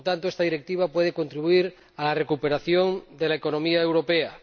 Por lo tanto, esta Directiva puede contribuir a la recuperación de la economía europea.